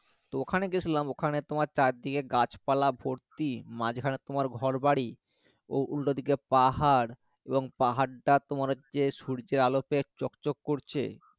তো ওখানে গেছিলাম ওখানে তোমার চারদিকে গাছপালা ভর্তি মাঝখানে তোমার ঘরবাড়ি উল্টো দিকে পাহাড় এবং পাহাড়টা তোমার হচ্ছে সূর্যের আলো পেয়ে চকচক করছে